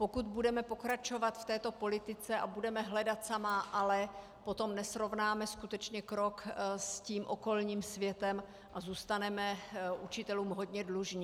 Pokud budeme pokračovat v této politice a budeme hledat samá ale, potom nesrovnáme skutečně krok s tím okolním světem a zůstaneme učitelům hodně dlužni.